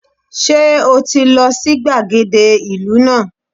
Sé o ti lo sí gbàgede ìlú náà